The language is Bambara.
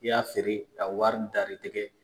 I y'a feere a wari dar'i tigɛ